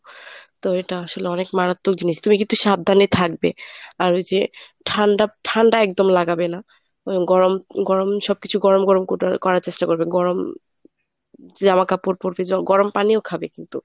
তো এটা আসলে অনেক মারাত্মক জিনিস তুমি কিন্তু একটু সাবধানে থাকবে আর ওই যে ঠান্ডা ঠান্ডা একদম লাগাবে না। গরম গরম সবকিছু গরম গরম করার চেষ্টা করবে গরম জামা কাপড় পরবে গরম পানিও খাবে কিন্তু।